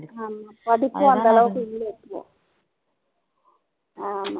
ஆமாம் படிப்பு அந்த அளவுக்கு இல்லை ஆமாம்